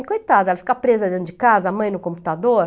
E coitada, ela fica presa dentro de casa, a mãe no computador.